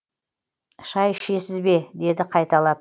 шай ішесіз бе деді қайталап